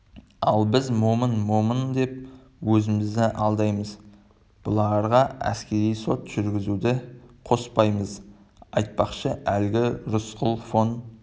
ал біз момын момын деп өзімізді алдаймыз бұларға әскери сот жүргізуді қоспаймыз айтпақшы әлгі рысқұл фон